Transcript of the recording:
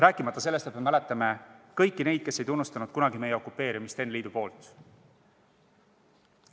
Rääkimata sellest, et mäletame kõiki neid, kes kunagi ei tunnustanud meie okupeerimist NSV Liidu poolt.